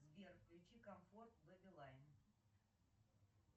сбер включи комфорт беби лайн